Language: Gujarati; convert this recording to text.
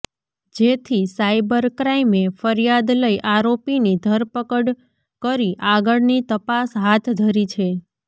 જેથી સાઈબર ક્રાઈમે ફરિયાદ લઈ આરોપીની ધરપકડ કરી આગળની તપાસ હાથ ધરી છે